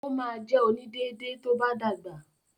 Ó ma jẹ “onídéédé” tó bá dàgbà.